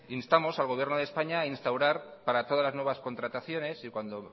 instamos al gobierno de españa a instaurar para todas las nuevas contrataciones y cuando